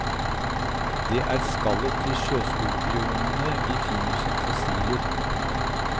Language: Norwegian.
Det er skallet til sjøskorpionene vi finner som fossiler.